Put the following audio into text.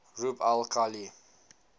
rub al khali